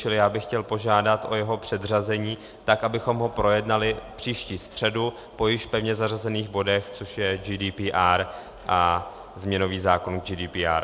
Čili já bych chtěl požádat o jeho předřazení tak, abychom ho projednali příští středu po již pevně zařazených bodech, což je GDPR a změnový zákon GDPR.